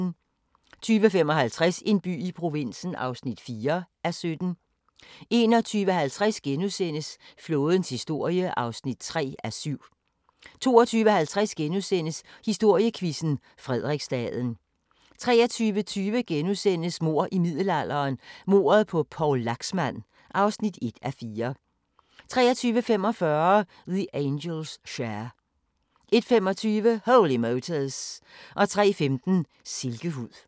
20:55: En by i provinsen (4:17) 21:50: Flådens historie (3:7)* 22:50: Historiequizzen: Frederiksstaden * 23:20: Mord i middelalderen – Mordet på Poul Laxmand (1:4)* 23:45: The Angels' Share 01:25: Holy Motors 03:15: Silkehud